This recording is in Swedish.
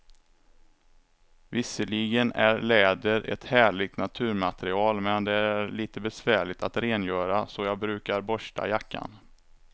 Visserligen är läder ett härligt naturmaterial, men det är lite besvärligt att rengöra, så jag brukar borsta jackan.